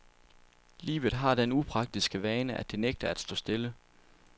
Livet har den upraktiske vane, at det nægter at stå stille.